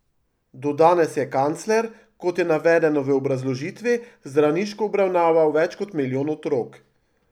Do danes je Kancler, kot je navedeno v obrazložitvi, zdravniško obravnaval več kot milijon otrok.